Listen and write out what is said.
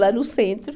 Lá no centro.